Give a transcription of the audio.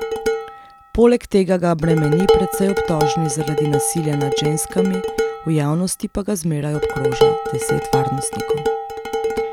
Poleg tega ga bremeni precej obtožnic zaradi nasilja nad ženskami, v javnosti pa ga zmeraj obkroža deset varnostnikov.